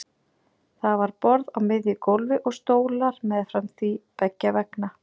Það var borð á miðju gólfi og stólar meðfram því beggja vegna.